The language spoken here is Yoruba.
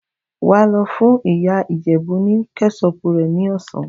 Wàá lọ fún ìyá ìjèbú ní kẹ́sọpù rẹ̀ ní ọ̀sán!